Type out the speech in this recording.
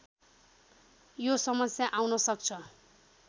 यो समस्या आउन सक्छ